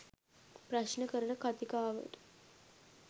ප්‍රශ්න කරන කතිකාවට